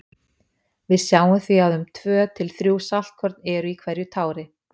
Við sjáum því að um tvö til þrjú saltkorn eru í hverju tári.